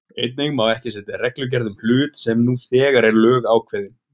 Einnig má ekki setja reglugerð um hlut sem nú þegar er lögákveðinn.